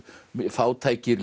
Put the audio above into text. fátækir